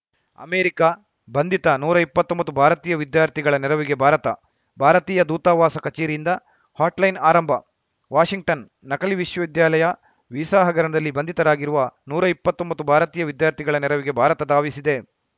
America ಬಂಧಿತ ನೂರಾ ಇಪ್ಪತೊಂಬತ್ತು ಭಾರತೀಯ ವಿದ್ಯಾರ್ಥಿಗಳ ನೆರವಿಗೆ ಭಾರತ ಭಾರತೀಯ ದೂತಾವಾಸ ಕಚೇರಿಯಿಂದ ಹಾಟ್‌ಲೈನ್‌ ಆರಂಭ ವಾಷಿಂಗ್ಟನ್‌ ನಕಲಿ ವಿಶ್ವವಿದ್ಯಾಲಯ ವೀಸಾ ಹಗರಣದಲ್ಲಿ ಬಂಧಿತರಾಗಿರುವ ನೂರಾ ಇಪ್ಪತೊಂಬತ್ತು ಭಾರತೀಯ ವಿದ್ಯಾರ್ಥಿಗಳ ನೆರವಿಗೆ ಭಾರತ ಧಾವಿಸಿದೆ